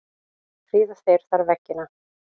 Prýða þeir þar veggina.